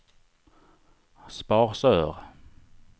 Sparsör